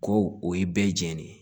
Ko o ye bɛɛ jɛni ye